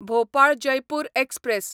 Bhopal Jaipur express